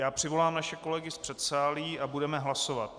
Já přivolám naše kolegy z předsálí a budeme hlasovat.